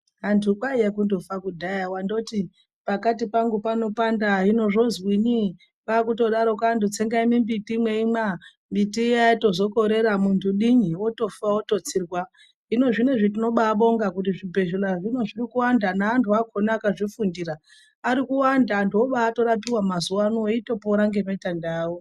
Vantu kwaiva kutofa kudhaya wangoti pakati pangu panopanda hino zvozwini pakungodai antu tsengai mimbiti meimwa mbiti iya yazokorera hino muntu dini wotofa wototsirwa hino zvinezvi toda kubonga kuti zvibhedhlera zvoda kuwanda nenanhu acho akazvifundira Ari kuwanda antu obatorapiwa mazuva ano eibapora nematenda awo.